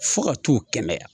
Fo ka t'u kɛnɛya.